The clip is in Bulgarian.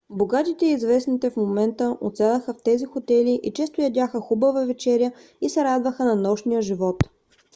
богатите и известните в момента отсядаха в тези хотели и често ядяха хубава вечеря и се радваха на нощния живот